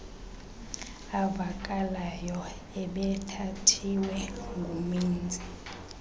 avakalayo ebethathiwe ngumenzi